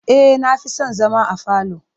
E, na fi son zama a falo.